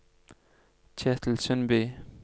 Ketil Sundby